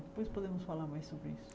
Depois podemos falar mais sobre isso.